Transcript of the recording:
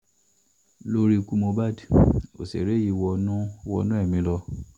lórí ikú mohbak òṣèré yìí wọnú wọnú ẹ̀mí lọ